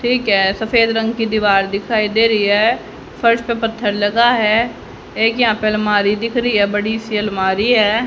सफेद रंग की दीवार दिखाई दे रही है। फर्श पर पत्थर लगा है। एक यहां पर अलमारी दिख रही है बड़ी सी अलमारी है।